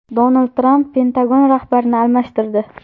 Donald Tramp Pentagon rahbarini almashtirdi.